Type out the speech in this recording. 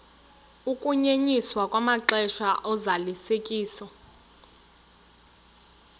ukunyenyiswa kwamaxesha ozalisekiso